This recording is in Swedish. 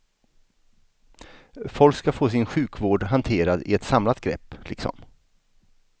Folk ska få sin sjukvård hanterad i ett samlat grepp, liksom.